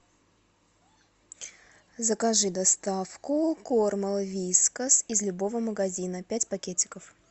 закажи доставку корма вискас из любого магазина пять пакетиков